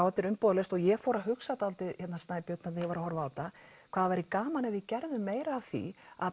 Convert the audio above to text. þetta er umbúðalaust og ég fór að hugsa dálítið þegar ég var að horfa þetta hvað það væri gaman ef við gerðum meira af því að